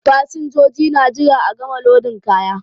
Fasinjoji na jira a gama lodin kaya.